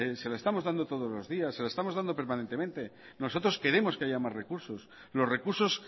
se la estamos dando todos los días se la estamos dando permanentemente nosotros queremos que haya más recursos los recursos